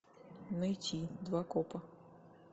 найти два копа